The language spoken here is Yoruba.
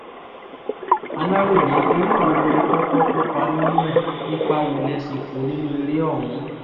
aláròye eré wo lẹ kọ́kọ́ kópa nínú ẹ̀ ipa wo lẹ sì kó nínú eré ọ̀hún